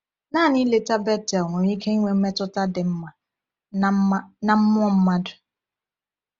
Naanị ileta Bethel nwere ike inwe mmetụta dị mma na mma na mmụọ mmadụ.